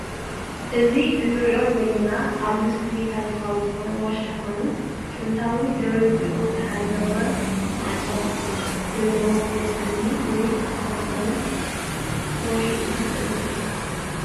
እዚ ንሪኦ ዘለና ኣብ ምስሊ ታሪካዊ ዝኮነ ዋሻ ኮይኑ ጥንታዊ ድርጅኦ ዝሓለወ ማዕፆ ዝልዎ ዉቁር እምኒ ወይ ዝትፈልፈለ ኩሒ ኢና ንርኢ ዝልና ።